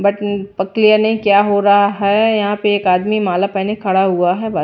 But ये clear नहीं क्या हो रहा है यहां पे एक आदमी माला पहने खड़ा हुआ है .]